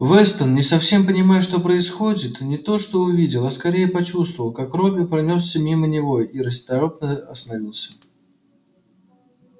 вестон не совсем понимая что происходит не то что увидел а скорее почувствовал как робби пронёсся мимо него и расторопно остановился